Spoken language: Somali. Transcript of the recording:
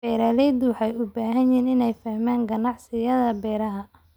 Beeraleydu waxay u baahan yihiin inay fahmaan ganacsiyada beeraha.